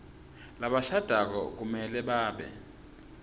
labashadako kumele babe